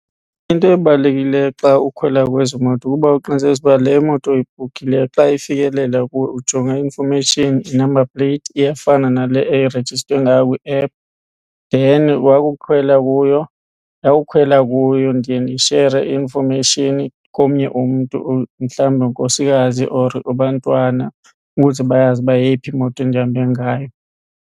Into ebalulekileyo xa ukhwela kwezi moto kukuba uqinisekise ukuba le moto uyibhukhileyo xa ifikelela kuwe ujonga i-information, i-number plate iyafana nale irejistwe ngayo kwi-app. Then wakukhwela kuyo, ndawukhwela kuyo ndiye ndishere i-information komnye umntu mhlawumbe unkosikazi or abantwana ukuze bayazi uba yeyiphi imoto endihambe ngayo.